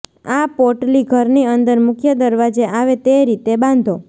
આ પોટલી ઘરની અંદર મુખ્ય દરવાજે આવે તે રીતે બાંધો